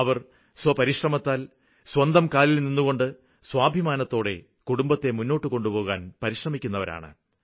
അവര് സ്വപരിശ്രമത്താല് സ്വന്തം കാലില്നിന്നുകൊണ്ട് സ്വാഭിമാനത്തോടെ കുടുംബത്തെ മുന്നോട്ടുകൊണ്ടുപോകുവാന് പരിശ്രമിക്കുന്നവരാണ്